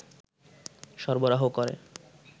সরবরাহ করে